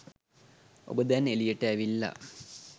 ඔබ දැන් එළියට ඇවිල්ලා